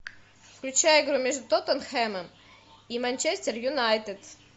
включай игру между тоттенхэмом и манчестер юнайтед